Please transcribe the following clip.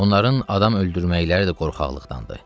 Onların adam öldürməkləri də qorxaqlıqdandır.